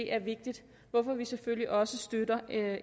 er vigtigt hvorfor vi selvfølgelig også støtter